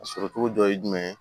A sɔrɔ cogo dɔ ye jumɛn ye